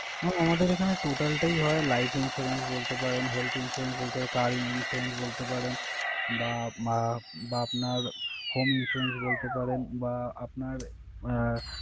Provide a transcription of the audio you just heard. Mam আমাদের এখানে total টাই হয় life insurance বলতে পারেন, health insurance বলতে পারেন, car insurance বলতে পারেন বা আহ বা আপনার home insurance বলতে পারেন বা আপনার আহ,